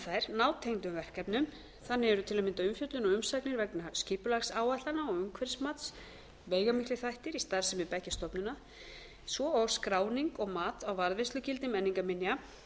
enda sinna þær nátengdum verkefnum þannig eru til að mynda umfjöllun og umsagnir vegna skipulagsáætlana og umhverfismats veigamiklir þættir í starfsemi beggja stofnana svo og skráning og mat á varðveislugildi menningarminja